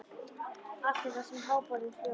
Allt er það sem háborið hjóm.